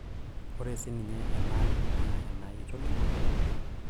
ore sininye enaang' naa enaai itoning'o